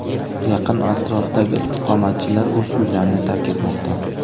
Yaqin atrofdagi istiqomatchilar o‘z uylarini tark etmoqda.